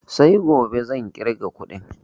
Sai gobe zan ƙirga kuɗin